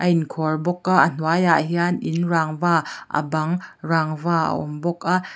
a in khuar bawk a a hnuai ah hian in rangva a bang rangva a awm bawk a.